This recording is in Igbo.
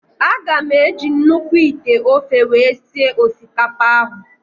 Aga m eji nnukwu ite ofe wee sie osikapa ahụ.